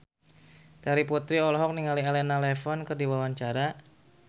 Terry Putri olohok ningali Elena Levon keur diwawancara